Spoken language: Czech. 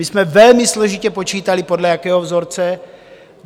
My jsme velmi složitě počítali, podle jakého vzorce.